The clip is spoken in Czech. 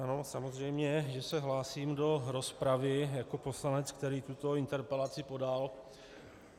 Ano, samozřejmě že se hlásím do rozpravy jako poslanec, který tuto interpelaci podal.